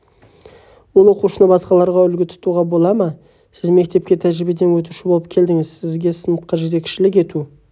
ол оқушыны басқаларға үлгі тұтуға бола ма сіз мектепке тәжірибеден өтуші болып келдіңіз сізге сыныпқа жетекшілік ету